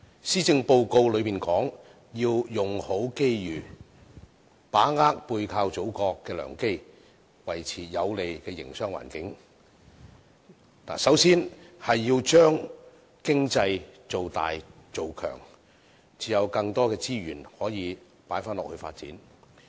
施政報告說"用好機遇"，把握背靠祖國的良機，維持有利的營商環境，首先要把經濟造大造強，才能投放更多資源來發展。